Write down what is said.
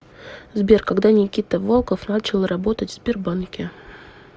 сбер когда никита волков начал работать в сбербанке